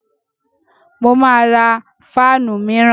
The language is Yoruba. Mo máa ra fáànù míràn.